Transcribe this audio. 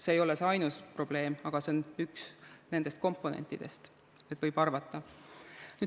See ei ole ainus probleem, aga see on üks nendest komponentidest.